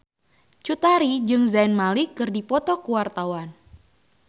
Cut Tari jeung Zayn Malik keur dipoto ku wartawan